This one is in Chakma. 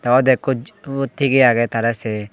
ibot ekko ubot thigey agey tarey sey.